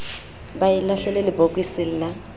ba e lahlele lebokoseng la